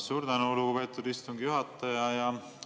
Suur tänu, lugupeetud istungi juhataja!